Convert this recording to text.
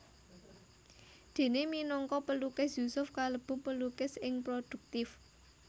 Déné minangka pelukis Yusuf kalebu pelukis sing prodhuktif